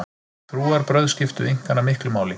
Trúarbrögð skiptu Inkana miklu máli.